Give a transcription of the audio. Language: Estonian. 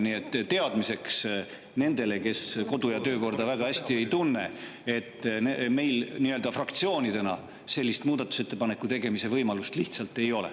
Nii et teadmiseks nendele, kes kodu‑ ja töökorda väga hästi ei tunne: meil fraktsioonidena sellist muudatusettepaneku tegemise võimalust lihtsalt ei ole.